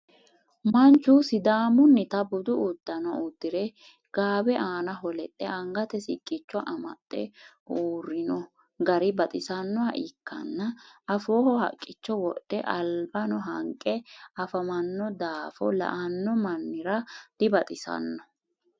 manchu sidaamunnita budu udanno udire gaawe aannaho lexxe angate siqqicho amaxe uurino gari baxisannoha ikanna afooho haqicho wodhealibanno hanqe afamanno daafo la'anni mamira dibaxisanno.